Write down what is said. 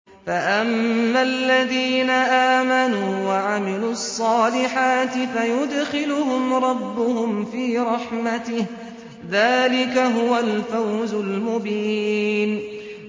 فَأَمَّا الَّذِينَ آمَنُوا وَعَمِلُوا الصَّالِحَاتِ فَيُدْخِلُهُمْ رَبُّهُمْ فِي رَحْمَتِهِ ۚ ذَٰلِكَ هُوَ الْفَوْزُ الْمُبِينُ